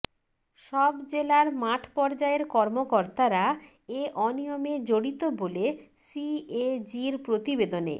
সব জেলার মাঠ পর্যায়ের কর্মকর্তারা এ অনিয়মে জড়িত বলে সিএজির প্রতিবেদনে